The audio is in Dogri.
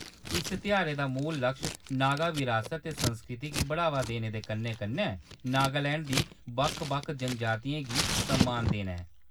इस तेहारै दा मूल लक्श नागा बरासत ते संस्कृति गी बढ़ावा देने दे कन्नै - कन्नै नागालैंड दी बक्ख-बक्ख जनजातियें गी सम्मान देना ऐ।